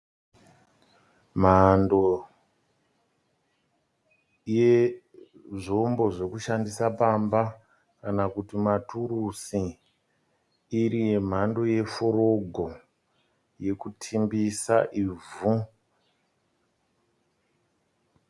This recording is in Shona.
Mhando yezvombo zvekushandisa pamba kana kuti ma turusi iri ye mhando ye forogo yekutimbisa ivhu.